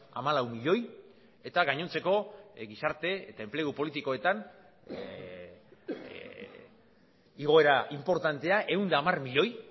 hamalau milioi eta gainontzeko gizarte eta enplegu politikoetan igoera inportantea ehun eta hamar milioi